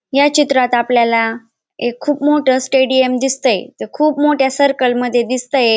या चित्रात आपल्याला एक खूप मोठा स्टेडियम दिसतंय ते खूप मोठ्या सर्कल मध्ये दिसतंय.